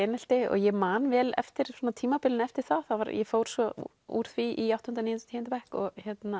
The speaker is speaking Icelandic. einelti og ég man vel eftir tímabilinu eftir það ég fór svo úr því í áttunda níunda og tíunda bekk og